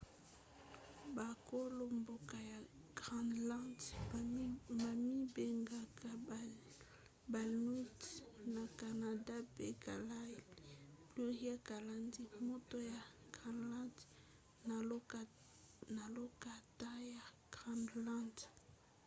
bakolo-mboka ya groenlande bamibengaka bainuits na canada pe kalaalleq pluriel kalaallit moto ya groenlande na lokota ya groenlande